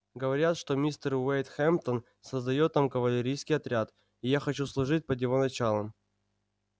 говорят что мистер уэйд хэмптон создаёт там кавалерийский отряд и я хочу служить под его началом